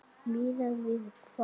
Miðað við hvað?